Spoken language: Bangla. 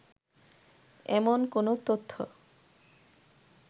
এমন কোনো তথ্য